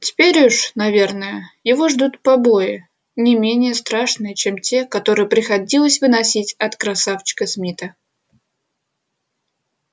теперь уж наверное его ждут побои не менее страшные чем те которые приходилось выносить от красавчика смита